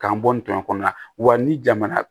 K'an bɔ n tɔn kɔnɔna la wa ni jamana